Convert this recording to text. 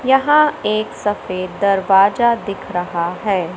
यहां एक सफेद दरवाजा दिख रहा है।